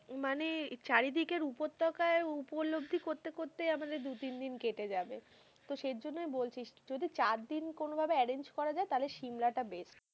মানে চারি দিকের উপত্যাকার, উপলব্ধি করতে করতে আমাদের দু-তিন দিন কেটে যাবে, তো সে জন্য বলছি যদি চারদিন কোনো ভাবে arrrange করা যাই, তাহলে সিমলা টা best.